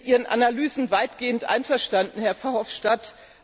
Ich bin mit Ihren Analysen weitgehend einverstanden, Herr Verhofstadt.